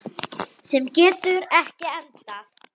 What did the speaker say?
Sem getur ekki endað.